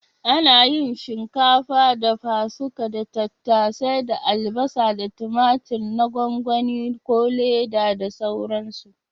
Ana yin shinkafa dafa-suka da tattasai da albasa da tumatur na gwangwani/Leda da sauransu.